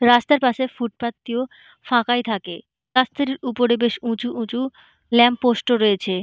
রাস্তার পাশে ফুটপাথ টিও ফাঁকাই থাকে রাস্তার উপরে বেশ উঁচু উঁচু ল্যাম্প পোস্ট ও রয়েছে।